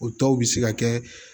O tɔw bɛ se ka kɛ